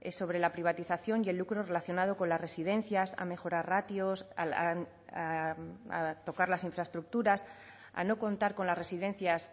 sobre la privatización y el lucro relacionado con las residencias a mejorar ratios a tocar las infraestructuras a no contar con las residencias